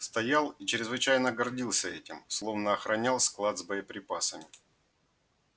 стоял и чрезвычайно гордился этим словно охранял склад с боеприпасами